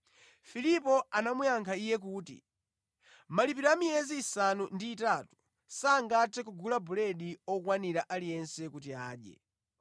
Filipo anamuyankha Iye kuti, “Malipiro a miyezi isanu ndi itatu sangathe kugula buledi okwanira aliyense kuti adye!”